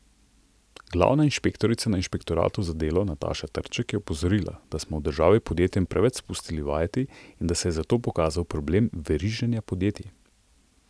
Glavna inšpektorica na inšpektoratu za delo Nataša Trček je opozorila, da smo v državi podjetjem preveč spustili vajeti in da se je zato pokazal problem veriženja podjetij.